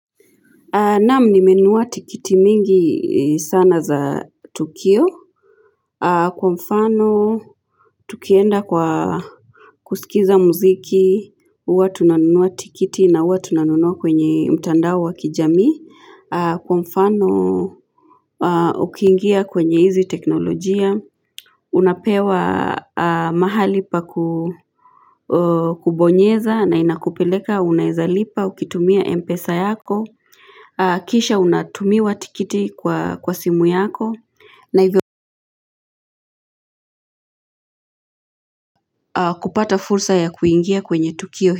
Naam nimenunua tikiti mingi sana za Tukio. Kwa mfano, tukienda kwa kusikiliza muziki, huwa tunanunua tiketi na huwa tunanunua kwenye mtandao wa kijami. Kwa mfano, ukiingia kwenye hizi teknolojia. Unapewa mahali pa kubonyeza na inakupeleka, unawezalipa, ukitumia M -PESA yako. Kisha unatumiwa tiketi kwa kwa simu yako na hivyo kupata fursa ya kuingia kwenye Tukio.